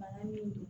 Bana min don